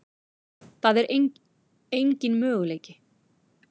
Það er engin möguleiki.